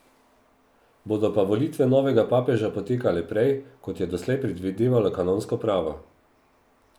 Bodo pa volitve novega papeža potekale prej, kot je doslej predvidevalo kanonsko pravo.